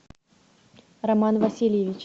роман васильевич